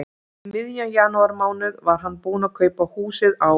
Um miðjan janúarmánuð var hann búinn að kaupa húsið á